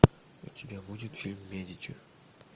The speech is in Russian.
у тебя будет фильм медичи